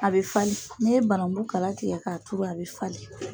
A bɛ falen n'i ye banangun kala tigɛ k'a turu a bɛ falen.